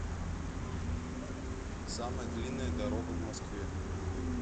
самая длинная дорога в москве